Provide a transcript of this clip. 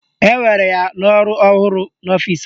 Ewere ya n'ọrụ ọhụrụ n'ọfịsi anyị